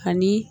Ani